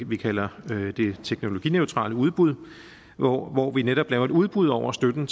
vi kalder det teknologineutrale udbud hvor hvor vi netop laver et udbud over støtten